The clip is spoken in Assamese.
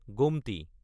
গোমটি